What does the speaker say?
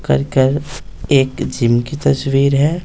करकर एक जिम की तस्वीर है।